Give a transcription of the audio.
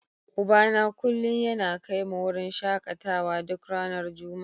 Ubana kullum yana kai mu wurin shakatawa duk ranar Juma'a.